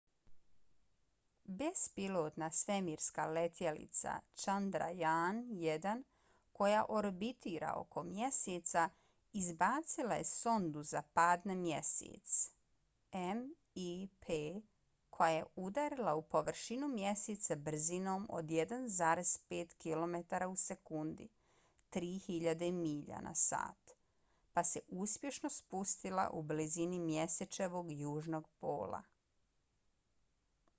bespilotna svemirska letjelica chandrayaan-1 koja orbitira oko mjeseca izbacila je sondu za pad na mjesec mip koja je udarila u površinu mjeseca brzinom od 1,5 kilometara u sekundi 3000 milja na sat pa se uspješno spustila u blizini mjesečevog južnog pola